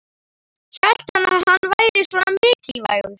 Hélt hann að hann væri svona mikilvægur?